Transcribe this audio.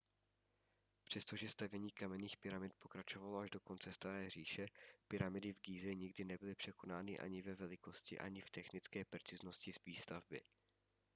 přestože stavění kamenných pyramid pokračovalo až do konce staré říše pyramidy v gíze nikdy nebyly překonány ani ve velikosti ani v technické preciznosti výstavby